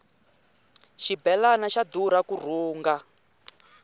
xibelani xa durha ku rhunga